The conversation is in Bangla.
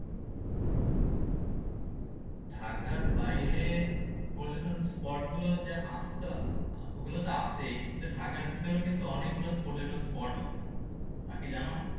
ঢাকার বাইরে পর্যটন spot গুলো যে আছে তো ওগুলো তো আছেই। কিন্তু ঢাকার ভিতরেও কিন্তু অনেকগুলো পর্যটন spot আছে, তা কি জানো?